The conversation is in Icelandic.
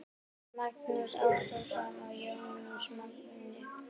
Magnús Ágúst og Jónatan Magni